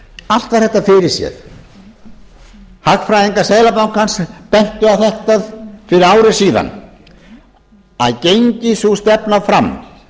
allt var þetta fyrirséð hagfræðingar seðlabankans bentu á þetta fyrir ári síðan að gengi sú stefna fram